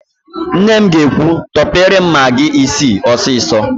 Nne m ga-ekwu, "tọpere m magị isii ọsịsọ"!